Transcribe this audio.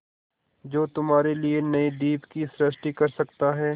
जो तुम्हारे लिए नए द्वीप की सृष्टि कर सकता है